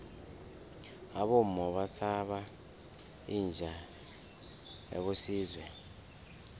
abomma basaba inja yakosizwe